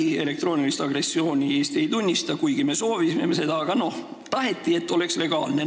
Eesti ei tunnista elektroonilist agressiooni, kuigi meie seda soovisime – taheti, et see oleks legaalne.